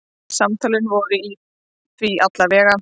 Samtölin voru því alla vega.